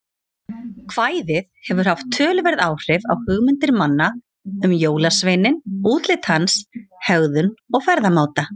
Kvæðið hefur haft töluverð áhrif á hugmyndir manna um jólasveininn, útlit hans, hegðun og ferðamáta.